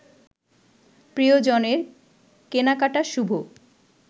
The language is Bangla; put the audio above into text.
প্রিয়জনের কেনাকাটা শুভ